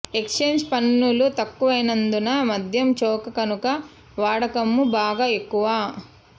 excise పన్నులు తక్కువైనందున మధ్యం చౌక కనుక వాడకమూ బాగా ఎక్కువ